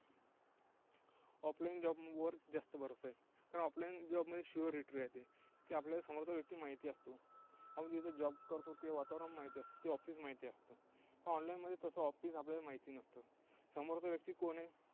off line job वर जास्त भरोसा आहे. कारण off line job मध्ये Surety राहते. की आपल्याला समोरचा व्यक्ती माहिती असतो. आपण तिथं job करतो तो ते वातावरण माहिती असतं, ते office माहिती असतं. online मध्ये तसं office आपल्याला माहिती नसतं. समोरचा व्यक्ती कोण आहे?